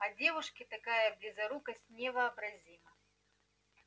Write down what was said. а девушке такая близорукость невообразима